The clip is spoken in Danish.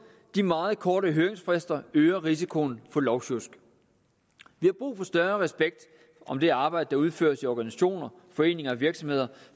de meget korte høringsfrister øger risikoen for lovsjusk vi har brug for større respekt om det arbejde der udføres i organisationer foreninger og virksomheder